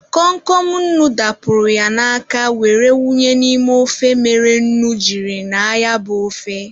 Kom Kom nnu dapụrụ ya n'aka were wunye n'ime ofe mere nnu jiri ñaa ya bụ ofe.